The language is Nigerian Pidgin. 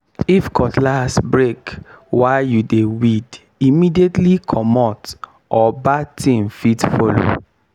if cutlass break while you dey weed immediately comot or bad thing fit follow.